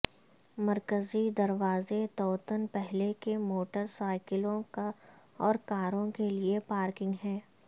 مرکزی دروازے توتن پہلے کہ موٹر سائیکلوں اور کاروں کے لئے پارکنگ ہے